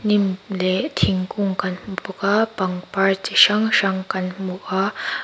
hnim leh thingkung kan hmu bawk a pangpar chi hrang hrang kan hmu a.